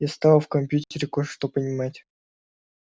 я стала в компьютере кое-что понимать